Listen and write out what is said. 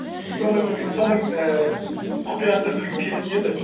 соның ііі құпиясын білгім келетін еді